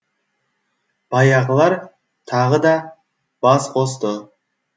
баяғылар тағы да бас қосты